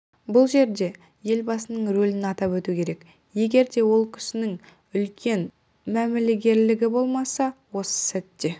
бұл жерде елбасының рөлін атап өту керек егер де ол кісінің үлкен мәмілегерлігі болмаса осы істі